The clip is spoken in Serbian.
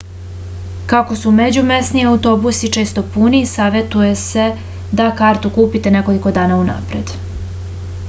kako su međumesni autobusi često puni savetuje se da kartu kupite nekoliko dana unapred